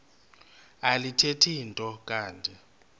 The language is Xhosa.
alithethi nto kanti